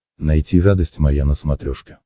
найти радость моя на смотрешке